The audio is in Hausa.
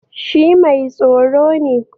Shi mai tsaro ne